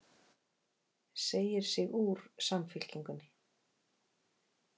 Segir sig úr Samfylkingunni